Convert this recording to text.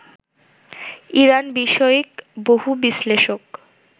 Iran বিষয়ক বহু বিশ্লেষক